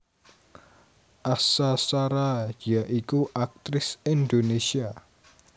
Asha Shara ya iku aktris Indonesia